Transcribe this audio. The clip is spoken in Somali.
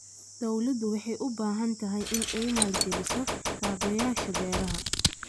Dawladdu waxay u baahan tahay inay maalgeliso kaabayaasha beeraha.